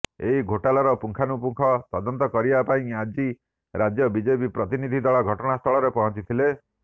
ଏହି ଘୋଟାଲର ପୁଙ୍ଖାନୁପୁଙ୍ଖନ ତଦନ୍ତ କରିବା ପାଇଁ ଆଜି ରାଜ୍ୟ ବିଜେପି ପ୍ରତିନିଧି ଦଳ ଘଟଣାସ୍ଥଳରେ ପହଞ୍ଚିଥିଲେ